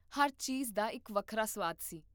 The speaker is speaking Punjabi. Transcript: ਹਰ ਚੀਜ਼ ਦਾ ਇੱਕ ਵੱਖਰਾ ਸੁਆਦ ਸੀ